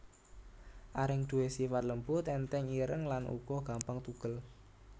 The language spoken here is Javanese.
Areng duwé sifat lembut ènthèng ireng lan uga gampang tugel